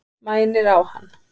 Mænir á hann.